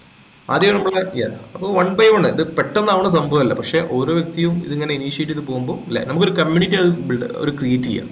ആദ്യം നമ്മക്ക് ല്ലേ yes അപ്പൊ one by one ഇപ്പൊ പെട്ടന്ന് ആവന്ന് സംഭവല്ല പക്ഷെ ഓരോ വ്യക്തിയും ഇത് ഇങ്ങനെ initiate ചെയ്ത പോകുമ്പോൾ അല്ലേ നമുക്ക് ഒരു community ആണ് buid up create യ്യാം